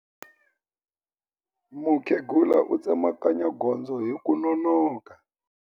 Mukhegula u tsemakanya gondzo hi ku nonoka.